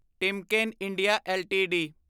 Timken India LTD